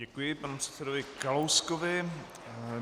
Děkuji panu předsedovi Kalouskovi.